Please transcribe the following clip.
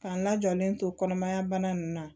K'an lajɔlen to kɔnɔmaya bana nunnu na